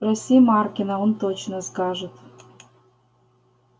спроси маркина он точно скажет